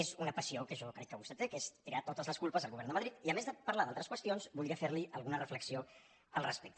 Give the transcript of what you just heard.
és una passió que jo crec que vostè té que és tirar totes les culpes al govern de madrid i a més de parlar d’altres qüestions voldria fer li alguna reflexió al respecte